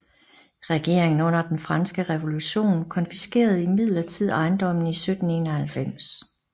Regeringen under den franske revolution konfiskerede imidlertid ejendommen i 1791